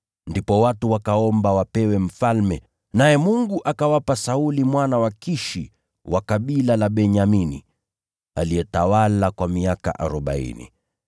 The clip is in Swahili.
Ndipo watu wakaomba wapewe mfalme, naye Mungu akawapa Sauli mwana wa Kishi wa kabila la Benyamini, aliyetawala kwa miaka arobaini.